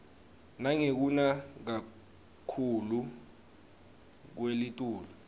nangekuna kakhuclu kwelitulu